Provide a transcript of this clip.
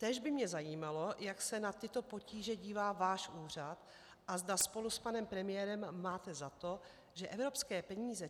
Též by mě zajímalo, jak se na tyto potíže dívá váš úřad a zda spolu s panem premiérem máte za to, že evropské peníze